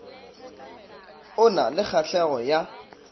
o na le kgahlego ya